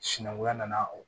Sinankunya nana o